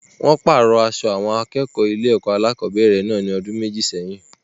Wọ́n pàrọ̀ aṣọ àwọn akẹ́kọ̀ọ́ ilé-ẹ̀kọ́ alákọ̀ọ́bẹ̀rẹ̀ náà ní ọdún méjì sẹ́yìn.